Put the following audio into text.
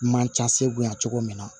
Man ca se bonya cogo min na